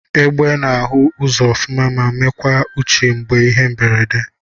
Egbe na ahu ụzọ ọfuma ma nwekwa uche mgbe ihe mberede.